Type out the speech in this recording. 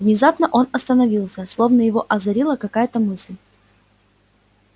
внезапно он остановился словно его озарила какая-то мысль